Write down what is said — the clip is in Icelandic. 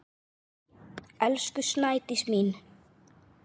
Elsku Snædís mín.